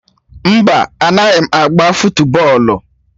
No, I don't play fụtbọol